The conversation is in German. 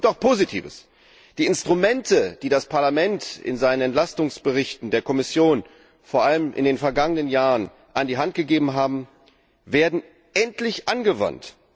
Doch es gibt auch Positives Die Instrumente, die das Parlament in seinen Entlastungsberichten der Kommission vor allem in den vergangenen Jahren an die Hand gegeben hat, werden endlich angewandt.